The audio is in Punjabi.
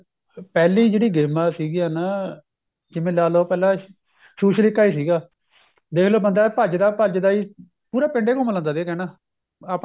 ਪਹਿਲੀ ਜਿਹੜੀ ਗੇਮਾਂ ਸੀਗੀਆਂ ਨਾ ਜਿਵੇਂ ਲਾਲੋ ਪਹਿਲਾਂ ਛੂਛਲੀਕਾ ਸੀਗਾ ਦੇਖ ਲੋ ਬੰਦਾ ਭੱਜਦਾ ਭੱਜਦਾ ਪੂਰਾ ਪਿੰਡ ਈ ਘੁੰਮ ਲੈਂਦਾ ਸੀ ਕਹਿਣਾ ਆਪਣੇ